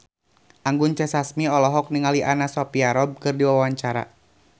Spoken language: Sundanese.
Anggun C. Sasmi olohok ningali Anna Sophia Robb keur diwawancara